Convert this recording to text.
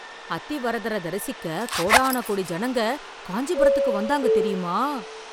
அத்தி வரதரை தரிசிக்க கோடான கோடி ஜனங்க காஞ்சிபுரத்துக்கு வந்தாங்க தெரியுமா?